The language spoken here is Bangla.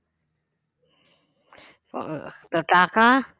তো টাকা